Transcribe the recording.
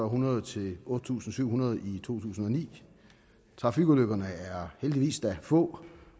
hundrede til otte tusind syv hundrede i to tusind og ni trafikulykkerne er heldigvis da få